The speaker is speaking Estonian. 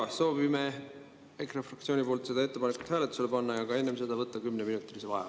Jaa, soovime EKRE fraktsiooniga selle ettepaneku hääletusele panna, aga enne seda võtta 10-minutilise vaheaja.